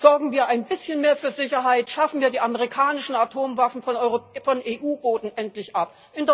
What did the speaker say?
Sorgen wir ein bisschen mehr für Sicherheit, schaffen wir die amerikanischen Atomwaffen von EU Boden endlich